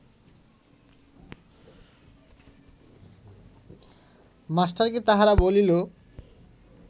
মাস্টারকে তাহারা বলিল